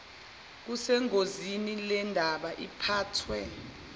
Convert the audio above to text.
kusengozini lendaba iphathwa